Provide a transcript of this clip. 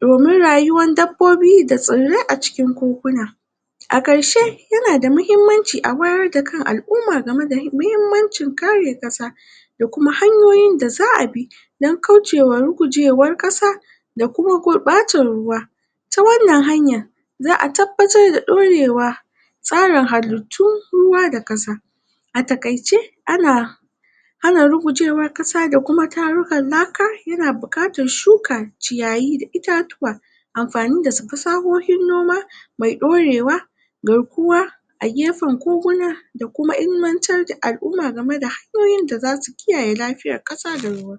domin rayuwan dabbobi, da tsirrai a cikin koguna a karshe yana da mahimmanci, a wayar da kan alumma, game da mahimmancin kare kasa da kuma hanyoyin da zaa bi dan kaushewa rugujewan kasa da kuma gurbatan ruwa ta wan nan hanyan zaa tabbatar da dorewa tsarin halittu, kasa da kasa a takaice ana ana rugujen wan kasa da kuma tarukan laka yana bukatan shuka ciyayi itatuwa anfani da fasahohin noma mai dorewa garkuwa a gefen koguna da kuma ilimantar da alumma game da, hanyoyin da zasu, kiyaye lafiyan kasa da ruwa